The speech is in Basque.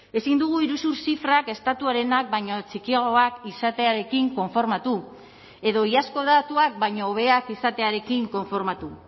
ezin dugu iruzur zifrak estatuarenak baino txikiagoak izatearekin konformatu edo iazko datuak baino hobeak izatearekin konformatu